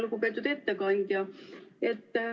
Lugupeetud ettekandja!